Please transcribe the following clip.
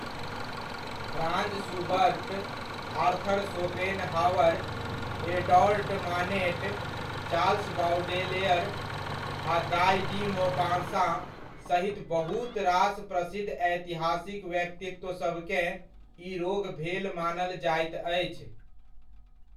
Franz Schubert, Arthur Schopenhauer, Edouard Manet, Charles Baudelaire, आ Guy de Maupassant सहित बहुत रास प्रसिद्ध ऐतिहासिक व्यक्तित्वसभकेँ ई रोग भेल मानल जाइत अछि।